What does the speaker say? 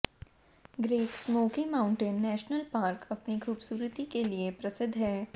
great smoky mountain national park अपनी खूबसूरती के लिए प्रसिद्ध है